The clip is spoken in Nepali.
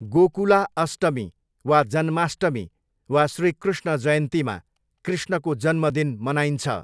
गोकुला अष्टमी वा जन्माष्टमी वा श्रीकृष्ण जयन्तीमा कृष्णको जन्मदिन मनाइन्छ।